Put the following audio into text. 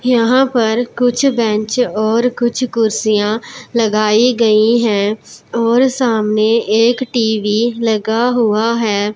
यहां पर कुछ बेंच और कुछ कुर्सियां लगाई गई हैं और सामने एक टी_वी लगा हुआ है।